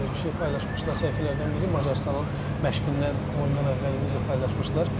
Belə bir şey paylaşmışdılar səhifələrdən biri Macarıstanın məşqindən oyundan əvvəl video paylaşmışdılar.